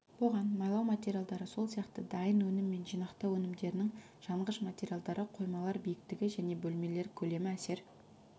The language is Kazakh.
бұған майлау материалдары сол сияқты дайын өнім мен жинақтау өнімдерінің жанғыш материалдары қоймалар биіктігі және бөлмелер көлемі әсер